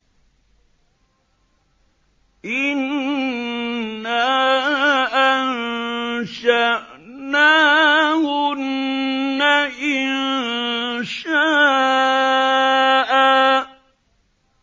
إِنَّا أَنشَأْنَاهُنَّ إِنشَاءً